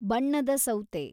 ಬಣ್ಣದ ಸೌತೆ